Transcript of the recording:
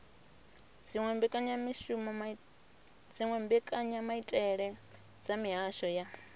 dziwe mbekanyamaitele dza mihasho ya